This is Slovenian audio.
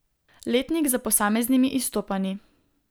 Letnik s posameznimi izstopanji.